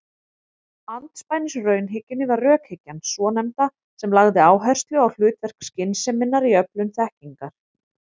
Andspænis raunhyggjunni var rökhyggjan svonefnda sem lagði áherslu á hlutverk skynseminnar í öflun þekkingar.